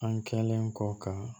An kɛlen kɔ ka